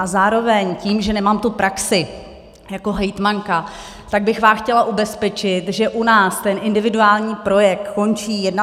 A zároveň tím, že nemám tu praxi jako hejtmanka, tak bych vás chtěla ubezpečit, že u nás ten individuální projekt končí 31. srpna.